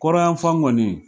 Kɔrɔnyan fan fan kɔni